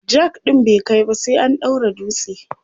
jack ɗin bai kaiba sai an daura dutse